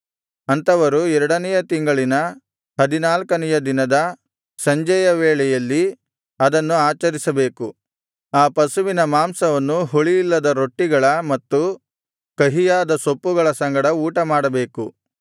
ಅಂಥವರು ಎರಡನೆಯ ತಿಂಗಳಿನ ಹದಿನಾಲ್ಕನೆಯ ದಿನದ ಸಂಜೆಯ ವೇಳೆಯಲ್ಲಿ ಅದನ್ನು ಆಚರಿಸಬೇಕು ಆ ಪಶುವಿನ ಮಾಂಸವನ್ನು ಹುಳಿಯಿಲ್ಲದ ರೊಟ್ಟಿಗಳ ಮತ್ತು ಕಹಿಯಾದ ಸೊಪ್ಪುಗಳ ಸಂಗಡ ಊಟಮಾಡಬೇಕು